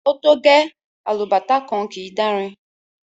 O to gẹ!, alubàtá kan kii dàrin.